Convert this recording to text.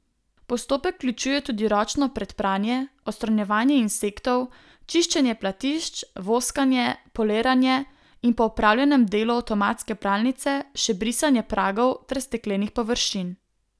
Postopek vključuje tudi ročno predpranje, odstranjevanje insektov, čiščenje platišč, voskanje, poliranje in po opravljen delu avtomatske pralnice, še brisanje pragov ter steklenih površin.